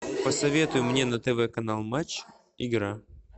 посоветуй мне на тв канал матч игра